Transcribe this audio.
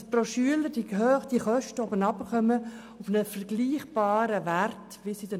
Es geht darum, dass die Kosten pro Schüler auf einen mit den anderen Kantonen vergleichbaren Wert sinken.